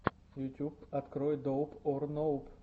ютьюб открой доуп ор ноуп